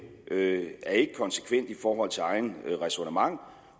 er ikke konsekvent i forhold til eget ræsonnement